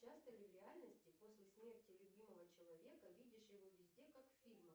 часто ли в реальности после смерти любимого человека видишь его везде как в фильмах